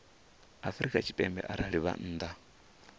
afrika tshipembe arali vha nnḓa